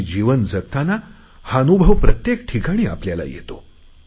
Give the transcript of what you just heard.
आणि जीवन जगताना हा अनुभव प्रत्येक ठिकाणी येतो